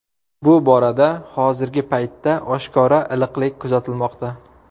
Bu borada hozirgi paytda oshkora iliqlik kuzatilmoqda.